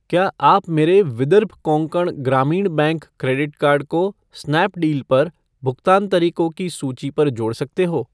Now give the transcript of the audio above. क्या आप मेरे Vidarbha Konkan Gramin bank credit card को स्नैपडील पर भुगतान तरीको की सूची पर जोड़ सकते हो ?